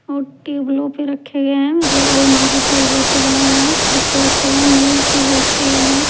और रखे हुए हैं मतलब अल्मारी पे जैसे बना हुआ है उस पे रखे गए हैंमेज पे भी रखे गए हैं।